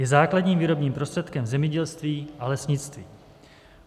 Je základním výrobním prostředkem zemědělství a lesnictví.